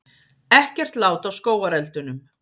Ekkert lát á skógareldunum